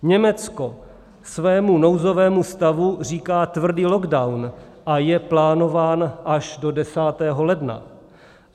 Německo svému nouzovému stavu říká tvrdý lockdown a je plánován až do 10. ledna.